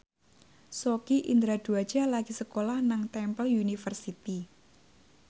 Sogi Indra Duaja lagi sekolah nang Temple University